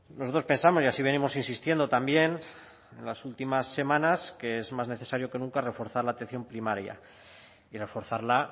nosotros pensamos y así venimos insistiendo también en las últimas semanas que es más necesario que nunca reforzar la atención primaria y reforzarla